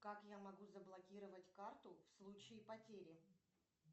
как я могу заблокировать карту в случае потери